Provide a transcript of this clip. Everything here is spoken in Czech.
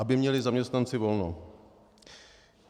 Aby měli zaměstnanci volno.